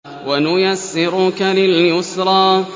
وَنُيَسِّرُكَ لِلْيُسْرَىٰ